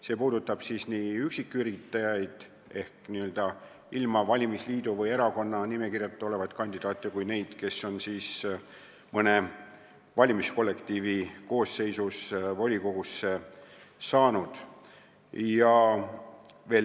See puudutab nii üksiküritajaid, kes on valitud ilma valimisliidu või erakonna nimekirjas olemata, kui ka neid, kes on mõne valimiskollektiivi koosseisus volikogusse saanud.